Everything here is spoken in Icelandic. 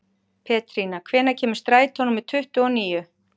Pétrína, hvenær kemur strætó númer tuttugu og níu?